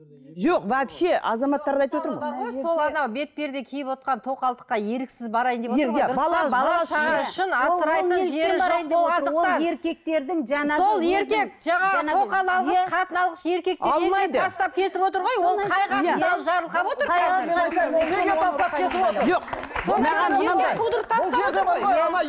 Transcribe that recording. жоқ вообще азаматтарды айтып отырмын ғой сол ана бетперде киівотқан тоқалдыққа еріксіз барайын деп отырғой